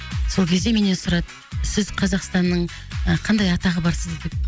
сол кезде менен сұрады сіз қазақстанның ы қандай атағы бар